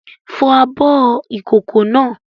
Fọ abọ́ ìkókó náà!